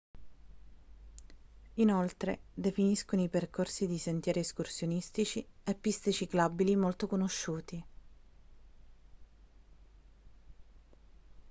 inoltre definiscono i percorsi di sentieri escursionistici e piste ciclabili molto conosciuti